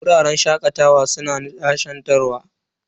Wuraren shakatawa suna nishadantarwa.